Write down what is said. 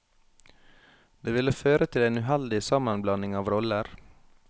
Det ville føre til en uheldig sammenblanding av roller.